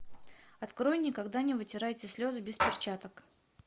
открой никогда не вытирайте слезы без перчаток